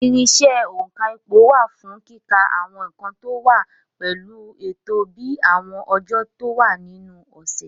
Irinṣẹ́ òǹkà ipò wà fún kíka àwọn nǹkan tó wá pẹ̀lú ètò bíi àwọn ọjọ́ tó wà nínú ọ̀sẹ̀.